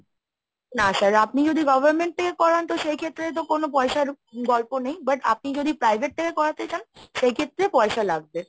না sir আপনি যদি government থেকে করান তো সেই ক্ষেত্রে তো কোনো পয়সার গল্প নেই but আপনি যদি private থেকে করাতে চান সেই ক্ষেত্রে পয়সা লাগবে।